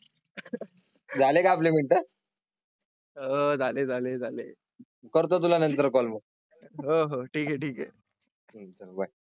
झाले का आपले मिनिट. आह झाले झाले. करतो तुला नंतर कॉल? हो हो ठीक आहे ठीक आहे.